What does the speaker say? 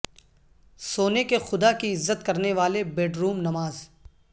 سونے کے خدا کی عزت کرنے والے بیڈروم نماز